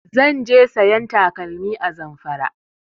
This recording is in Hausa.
Zan je sayan takalmi a Zamfara